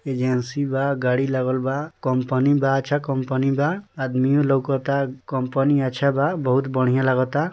Agency बा गाड़ी लागल बा कंपनी बा अच्छा कंपनी बा आदमियों लोकाता कंपनी अच्छा बा बहुत बढ़ियां लगता।